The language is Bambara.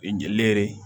U ye n jeli ye